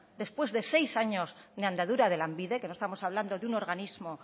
después de seis años de andadura de lanbide que no estamos hablando de un organismo